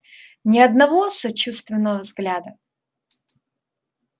ни одного сочувственного взгляда